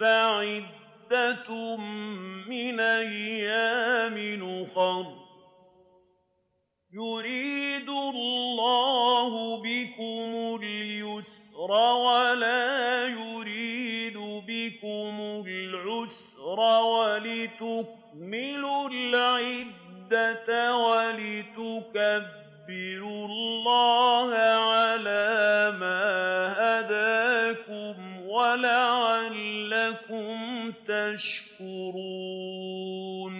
فَعِدَّةٌ مِّنْ أَيَّامٍ أُخَرَ ۗ يُرِيدُ اللَّهُ بِكُمُ الْيُسْرَ وَلَا يُرِيدُ بِكُمُ الْعُسْرَ وَلِتُكْمِلُوا الْعِدَّةَ وَلِتُكَبِّرُوا اللَّهَ عَلَىٰ مَا هَدَاكُمْ وَلَعَلَّكُمْ تَشْكُرُونَ